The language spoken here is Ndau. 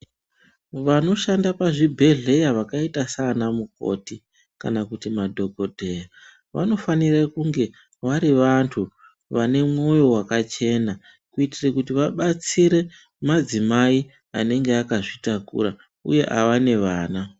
Vanoshanda pazvibhedhleya vakaita sana mukoti kana kuti madhokodheya vanofanira kunge vari vantu vane mwoyo wakachena kuitira kuti vabatsire madzimai anenge akazvitakura uye vanenge vane vana.